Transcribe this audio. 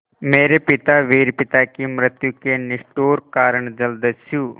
मेरे पिता वीर पिता की मृत्यु के निष्ठुर कारण जलदस्यु